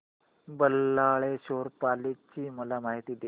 बल्लाळेश्वर पाली ची मला माहिती दे